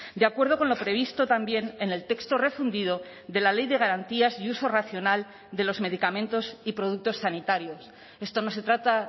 de acuerdo con lo previsto también en el texto refundido de la ley de garantías y uso racional de los medicamentos y productos sanitarios esto no se trata